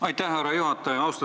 Aitäh, härra juhataja!